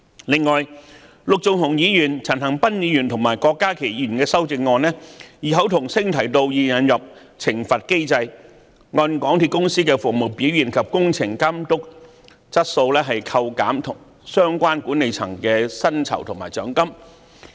此外，陸頌雄議員、陳恒鑌議員和郭家麒議員的修正案異口同聲要求引入懲罰機制，按港鐵公司的服務表現及工程監督質素扣減相關管理層的薪酬和獎金。